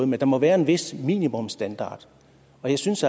men der må være en vis minimumsstandard og jeg synes